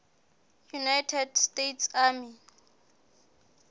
united states army